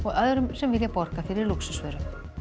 öðrum sem vilja borga fyrir lúxusvöru